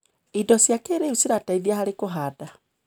Indo cia kĩrĩu cirateitha harĩ kũhanda.